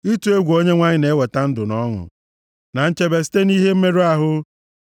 Ịtụ egwu Onyenwe anyị na-eweta ndụ na ọṅụ, na nchebe site nʼihe mmerụ ahụ.